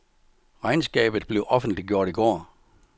Regnskabet blev offentliggjort i går.